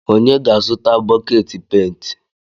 Onye ga-azụta bọket pent?